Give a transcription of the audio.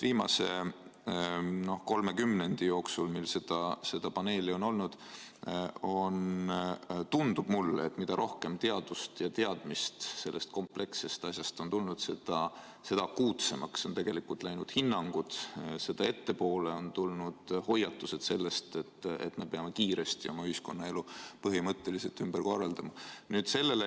Viimase kolme kümnendi jooksul, mil seda paneeli on olnud, tundub mulle, et mida rohkem teadmist tänu teadusele sellest komplekssest asjast on tulnud, seda akuutsemaks on tegelikult läinud hinnangud ja seda ettepoole on tulnud hoiatused, et me peame kiiresti oma ühiskonnaelu põhimõtteliselt ümber korraldama.